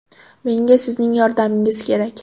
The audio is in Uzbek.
Menga sizning yordamingiz kerak.